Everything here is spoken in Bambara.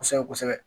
Kosɛbɛ kosɛbɛ